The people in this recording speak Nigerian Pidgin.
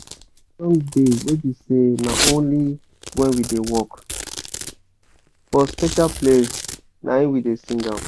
some song de wey be say na only when we da work for special place naim we da sing am